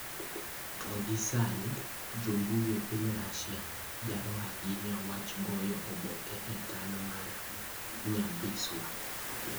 To gie sani, jo mbui e piny Russia, jaro ahinya wach goyo oboke e taon mar Nyabisawa.